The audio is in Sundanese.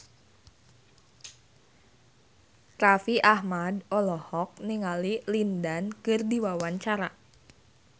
Raffi Ahmad olohok ningali Lin Dan keur diwawancara